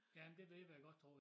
Ja men det det vil jeg godt tro